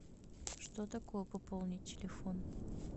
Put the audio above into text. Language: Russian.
что такое пополнить телефон